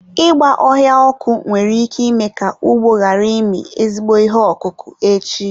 Ịgba ọhịa ọkụ nwere ike ime ka ugbo ghara ịmị ezigbo ihe ọkụkụ echi.